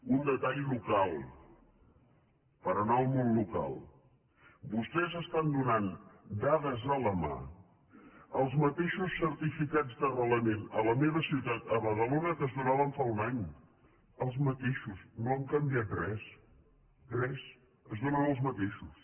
un detall local per anar al món local vostès estan do·nant dades a la mà els mateixos certificats d’arrela·ment a la meva ciutat a badalona que es donaven fa un any els mateixos no han canviat res res es do·nen els mateixos